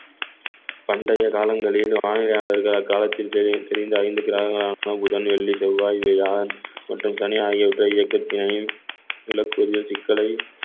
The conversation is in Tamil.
பண்டைய காலங்களில் வானிலையாளர்கள் அக்காலத்தில் திரி~ திரிந்த ஐந்து கிரகங்களான புதன் வெள்ளி செவ்வாய் வியாழன் மற்றும் சனி ஆகியவற்றை இயக்கத்தினரின் நிலக்கரியில் சிக்கலை